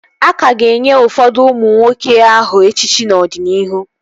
A ka ga-enye ụfọdụ ụmụ nwoke aha echichi n'ọdịnihu